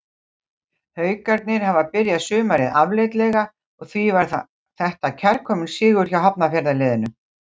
Haukarnir hafa byrjað sumarið afleitlega og því var þetta kærkominn sigur hjá Hafnarfjarðarliðinu.